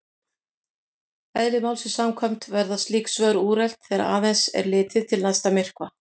Eðli málsins samkvæmt verða slík svör úrelt þegar aðeins er litið til næsta myrkva.